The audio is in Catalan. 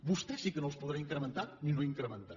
vostè sí que no els podrà incrementar ni no incrementar